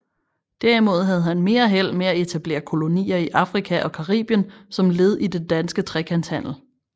Derimod havde han mere held med at etablere kolonier i Afrika og Caribien som led i den danske trekantshandel